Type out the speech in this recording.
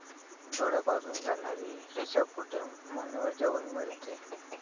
डोळ्यापासून जाणारी रेषा पुढे मानेवर जाऊन मिळते.